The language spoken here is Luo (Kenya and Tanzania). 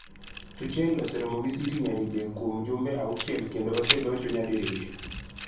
Tuchel oseromo gi City nyadidek kuom jumbe auchiel kendo oselocho nyadiriyo.